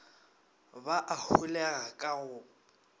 ba a holega ka go